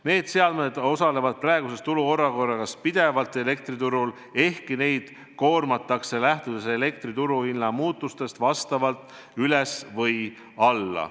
Need seadmed on praeguses turuolukorras pidevalt elektriturul töös, ehkki neid koormatakse lähtudes elektri turuhinna muutustest kas üles või alla.